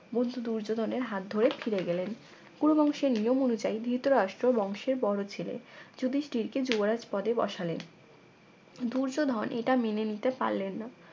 বন্ধু দূর্যোধনের হাত ধরে ফিরে গেলেন কুরু বংশের নিয়ম অনুযায়ী ধৃতরাষ্ট্র বংশের বড় ছেলে যুধিষ্ঠির কে যুবরাজ পদে বসালেন দুর্যোধন এটা মেনে নিতে পারলে না